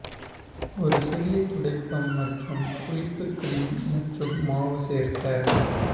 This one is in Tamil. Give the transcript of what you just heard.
ஒரு சிறிய துடைப்பம் மற்றும் புளிப்பு கிரீம் மற்றும் மாவு சேர்க்க